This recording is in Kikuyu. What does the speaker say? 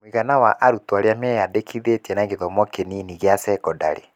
Mũigana wa arutwo arĩa meyandĩkithĩtie na gĩthomo kĩnini gĩa sekondarĩ: